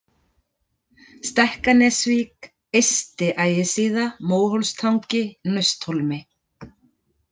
Stekkanesvík, Eysti-Ægissíða, Móhólstangi, Nausthólmi